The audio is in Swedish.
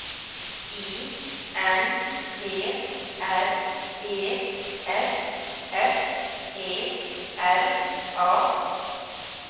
I N T R E S S E R A